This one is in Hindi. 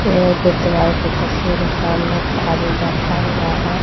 ये एक गुरुद्वारे की तस्वीर सामने एक आदमी बैठा हुआ है।